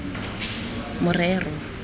morero